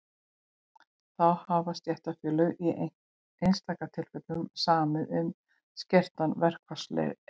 þá hafa stéttarfélög í einstaka tilfellum samið um skertan verkfallsrétt